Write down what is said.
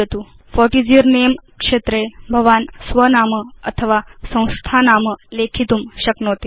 what is your name क्षेत्रे भवान् स्व नाम अथवा संस्था नाम लेखितुं शक्नोति